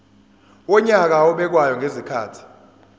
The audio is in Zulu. wonyaka obekwayo ngezikhathi